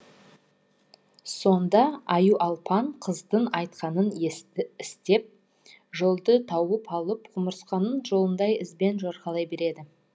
сонда аюалпаң қыздың айтқанын істеп жолды тауып алып құмырсқаның жолындай ізбен жорғалай береді